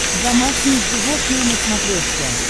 домашние животные на смотрешке